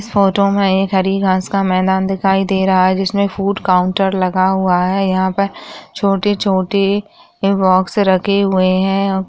Photo में एक हरी घास का मैदान दिखाई दे रहा है जिसमे फ़ूड काउंटर लगा हुआ है यहां पर छोटे छोटे बॉक्स रखे हुए है।